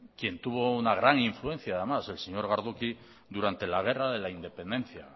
quien tuvo una gran influencia además el señor gardoqui durante la guerra de la independencia